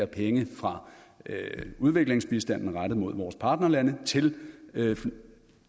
penge fra udviklingsbistanden rettet mod vores partnerlande til